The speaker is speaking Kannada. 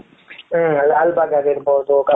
ಹ್ಮ್ ಲಾಲ್ ಬಾಗ್ ಆಗಿರಬಹುದು